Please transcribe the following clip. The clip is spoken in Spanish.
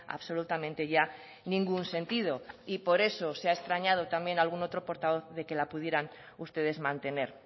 absolutamente ya ningún sentido y por eso se ha extrañado también algún otro portavoz de que la pudieran ustedes mantener